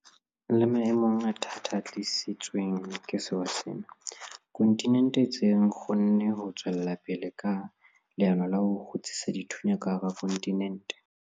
Le maemong a thata a tlisitsweng ke sewa sena, kontinente e ntse e kgonne ho tswela pele ka leano la ho 'kgutsisa dithunya' ka hara kontinente.